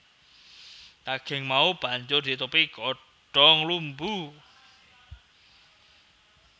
Daging mau banjur ditutupi godhong lumbu